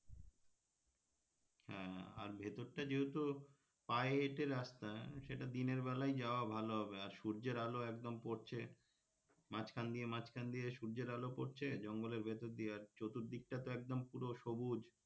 হ্যাঁ আর ভেতর টা যেহেতু পায়ে হেঁটে রাস্তা সেটা দিনের বেলায় যাওয়া ভালো হবে আর সূর্যের আলো একদম পড়ছে মাঝখান দিয়ে মাঝখান দিয়ে সূর্যের আলো পড়ছে জঙ্গলের ভেতর দিয়ে আর চতুর্দিকটা তো একদম পুরো সবুজ,